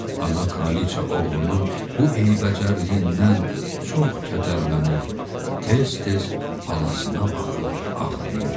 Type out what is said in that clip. Ana kraliqa oğlunun bu eybəcərliyindən çox kədərlənir, tez-tez balasına baxıb ağlayırdı.